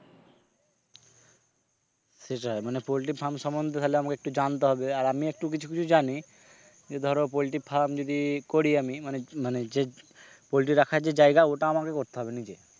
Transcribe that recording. সেটাই মানে poultry farm সমন্ধে তাহলে আমাকে একটু জানতে হবে আর আমি একটু কিছু কিছু জানি যে ধরো poultry farm যদি করি আমি মানে মানে যে poultry রাখার যে জায়গা ওইটা আমাকে করতে হবে নিজে,